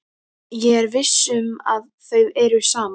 Ég er viss um að þau eru saman.